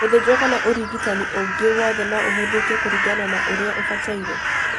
Gũthĩnjwo kana ũrigitanĩ ũngĩ wothe no ũhũthĩke kũringana na ũrĩa ũbataire